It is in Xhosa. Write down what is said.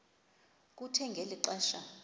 kuthe ngeli xesha